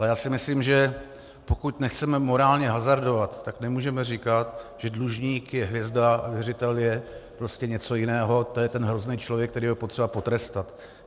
Ale já si myslím, že pokud nechceme morálně hazardovat, tak nemůžeme říkat, že dlužník je hvězda a věřitel je prostě něco jiného, to je ten hrozný člověk, kterého je potřeba potrestat.